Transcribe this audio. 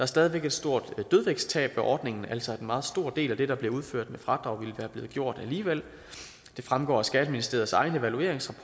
stadig væk et stort dødvægtstab ved ordningen altså at en meget stor del af det der bliver udført med fradrag ville være blevet gjort alligevel det fremgår af skatteministeriets egen evalueringsrapport